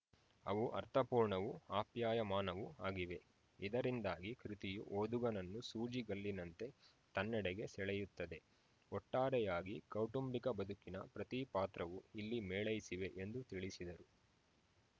ಅವು ಅರ್ಥಪೂರ್ಣವೂ ಆಪ್ಯಾಯಮಾನವೂ ಆಗಿವೆ ಇದರಿಂದಾಗಿ ಕೃತಿಯು ಓದುಗನನ್ನು ಸೂಜಿಗಲ್ಲಿನಂತೆ ತನ್ನೆಡೆಗೆ ಸೆಳೆಯುತ್ತದೆ ಒಟ್ಟಾರೆಯಾಗಿ ಕೌಟುಂಬಿಕ ಬದುಕಿನ ಪ್ರತಿಪಾತ್ರವೂ ಇಲ್ಲಿ ಮೇಳೈಸಿವೆ ಎಂದು ತಿಳಿಸಿದರು